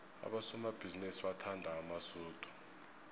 abosomabhizinisi bathanda amasudu